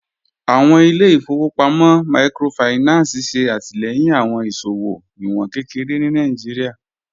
Awọn ilẹ̀-ifọ̀wọpamọ míkrófáìnánsì ṣe atilẹ̀yin awọn iṣowo iwọn kẹkẹre ni Nàìjíríà.